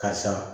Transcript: Karisa